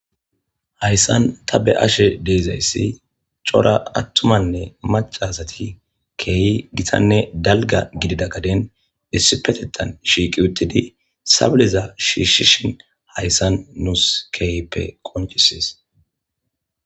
Hayisani ta beyashe dizayisi cora atumanne macca asati kehi gitanne daliga gidida gadeni issippeteththani uterhthani shiqi utidi shishiddhini hayisa nusi kehippe qonccisesi